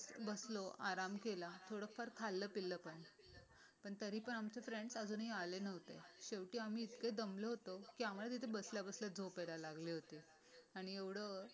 बसलो आराम केला थोडाफार खाल्लं पिल्ल पन पण तरी आमचे फ्रेंड्स अजूनही आले नव्हते. शेवटी आम्ही इतके दमलो होतो की आम्हाला तिथे बसल्या बसल्या झोप यायला लागली होती. आणि एवढं